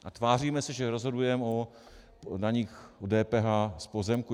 A tváříme se, že rozhodujeme o daních, o DPH z pozemků.